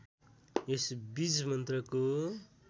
यस बीज मन्त्रको